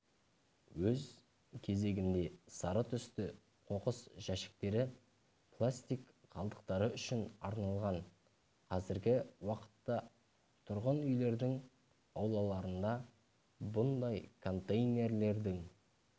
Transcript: өз кезегінде сары түсті қоқыс жәшіктері пластик қалдықтары үшін арналған қазіргі уақытта тұрғын-үйлердің аулаларында бұндай контейлердерің